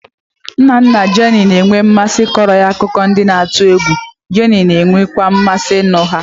Nna nna Jenny na-enwe mmasị ịkọrọ ya akụkọ ndị na-atụ egwu, Jenny na-enwekwa mmasị ịnụ ha.